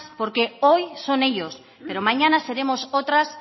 porque hoy son ellos pero mañana seremos otras